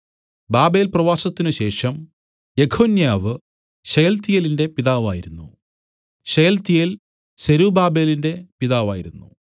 ബാബേൽപ്രവാസത്തിനുശേഷം Jeconiah ശെയല്തീയേലിന്റെ പിതാവായിരുന്നു Shealtiel സെരുബ്ബാബേലിന്റെ പിതാവായിരുന്നു